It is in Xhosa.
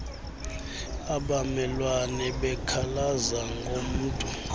abamelwane bekhalaza ngomntu